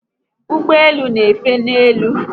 Ụgbọelu n'efe n'elu